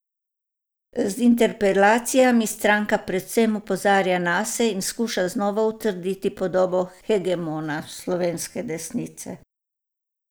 Z interpelacijami stranka predvsem opozarja nase in skuša znova utrditi podobo hegemona slovenske desnice.